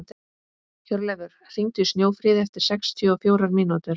Hjörleifur, hringdu í Snjófríði eftir sextíu og fjórar mínútur.